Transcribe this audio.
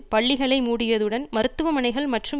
பள்ளிகளை மூடியதுடன் மருத்துவமனைகள் மற்றும்